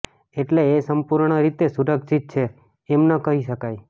એટલે એ સંપૂર્ણરીતે સુરક્ષિત છે એમ ન કહી શકાય